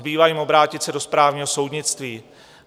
Zbývá jim obrátit se do správního soudnictví.